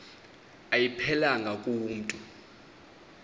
ayiphelelanga ku mntu